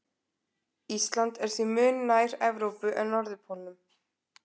ísland er því mun nær evrópu en norðurpólnum